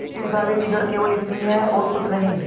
इस दावे की जड़ केवल इतनी ही है और कुछ नहीं